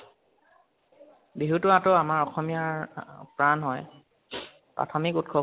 বিহুতু আতৰ আমাৰ অসমীয়াৰ অ প্ৰাণ হয় প্ৰাথমিক উৎসব হয়